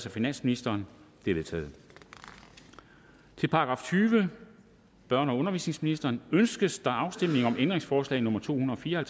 af finansministeren de er vedtaget til § tyvende børne og undervisningsministeriet ønskes afstemning om ændringsforslag nummer to hundrede og fire og